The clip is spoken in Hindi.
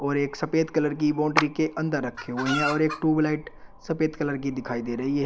और एक सफेद कलर की बाउंड्री के अंदर रखे हुए हैं और एक ट्यूबलाइट सफेद कलर की दिखाई दे रही है।